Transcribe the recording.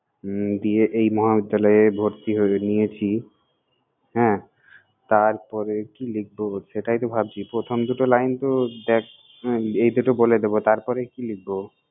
হমম দিয়ে এই মহাবিদ্যালয়ে ভর্তি হয়ে~ নিয়েছি। হ্যাঁ, তার-পরে কি লিখব সেটাই তো ভাবছি, প্রথম দুটো line তো দ্যাখ এই দুটো বলে দেবো, তারপরে কি লিখব?